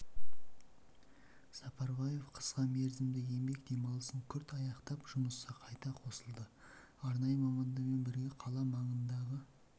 сапарбаев қысқа мерзімді еңбек демалысын күрт аяқтап жұмысқа қайта қосылды арнайы мамандармен бірге қала маңындағы